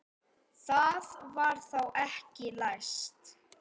Það var þá ekki læst!